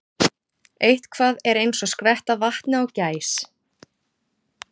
Eitthvað er eins og skvetta vatni á gæs